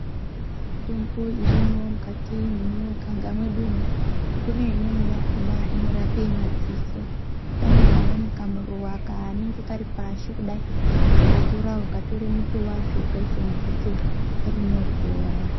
Yona mitombo irimwo mukati mwemuganga mwedumwo kune imweni yakhona inorape madziso pane kumweni kamuruwa kanenge Kari pasi kudai . Ukakatora ukatore muti wacho ukaise mudziso rinopora.